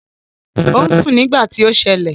Ò ń sùn nígbà tí ó ṣẹlẹ̀